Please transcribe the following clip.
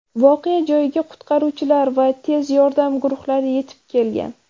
Voqea joyiga qutqaruvchilar va tez yordam guruhlari yetib kelgan.